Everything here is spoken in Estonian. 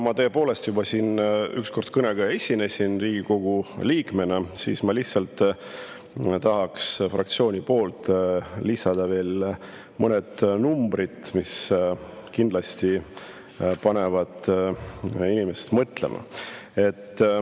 Ma tõepoolest juba esinesin siin kõnega Riigikogu liikmena, aga ma lihtsalt tahaks fraktsiooni poolt lisada veel mõned numbrid, mis kindlasti panevad inimesi mõtlema.